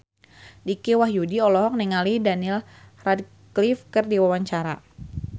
Dicky Wahyudi olohok ningali Daniel Radcliffe keur diwawancara